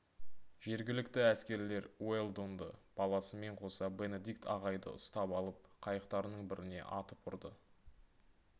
жергілікті әскерлер уэлдонды баласымен қоса бенедикт ағайды ұстап алып қайықтарының біріне атып ұрды